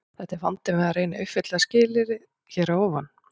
Þetta er vandinn við að reyna að uppfylla fyrra skilyrðið hér að ofan.